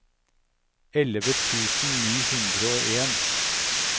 elleve tusen ni hundre og en